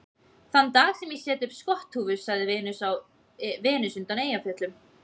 Þann dag sem ég set upp skotthúfu, sagði Venus undan Eyjafjöllum